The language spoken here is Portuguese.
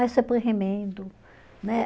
Aí você põe remendo, né